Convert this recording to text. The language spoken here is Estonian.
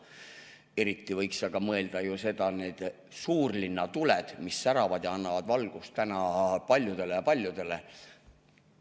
Eriti võiks aga mõelda nendele suurlinnatuledele, mis säravad ja annavad valgust paljudele-paljudele.